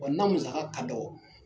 Wa n'a musaka ka dɔgɔ